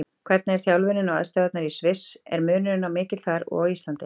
Hvernig er þjálfunin og aðstæðurnar í Sviss, er munurinn mikill þar og á Íslandi?